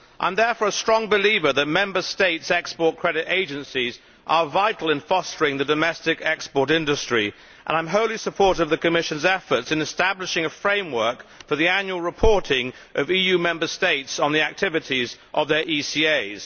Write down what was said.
I am therefore a strong believer that Member States' export credit agencies are vital in fostering the domestic export industry and I am wholly supportive of the Commission's efforts in establishing a framework for the annual reporting of EU Member States on the activities of their ECAs.